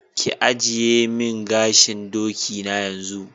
Ki agiye min gashin doki na yanzu.